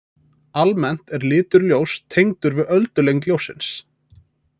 Almennt er litur ljóss tengdur við öldulengd ljóssins.